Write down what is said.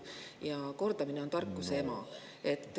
Ja kordamine on tarkuse ema.